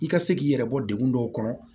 I ka se k'i yɛrɛ bɔ degun dɔw kɔnɔ